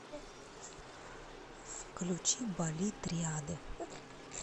включи бали триады